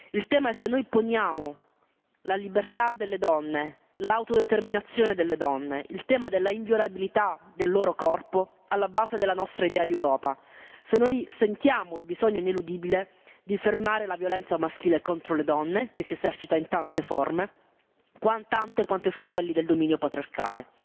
Il tema è se noi poniamo la libertà delle donne, l'autodeterminazione delle donne, il tema dell'inviolabilità del loro corpo alla base della nostra idea di Europa, se noi sentiamo il bisogno ineludibile di fermare la violenza maschile contro le donne, che si esercita in tante forme, tante quante sono quelle del dominio patriarcale.